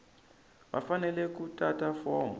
va fanele ku tata fomo